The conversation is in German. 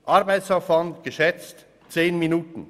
Den Arbeitsaufwand schätze ich auf 10 Minuten.